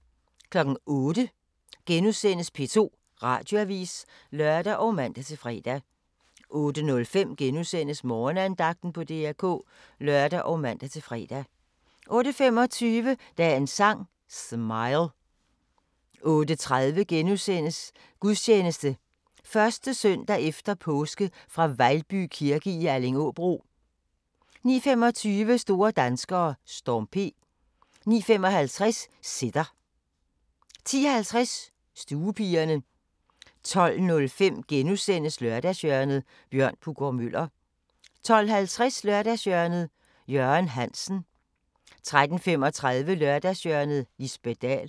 08:00: P2 Radioavis *(lør og man-fre) 08:05: Morgenandagten på DR K *(lør og man-fre) 08:25: Dagens Sang: Smile 08:30: Gudstjeneste 1. søndag e. Påske fra Vejlby kirke i Allingåbro * 09:25: Store danskere: Storm P 09:55: Sitter 10:50: Stuepigerne 12:05: Lørdagshjørnet – Bjørn Puggaard-Muller * 12:50: Lørdagshjørnet – Jørgen Hansen 13:35: Lørdagshjørnet - Lisbet Dahl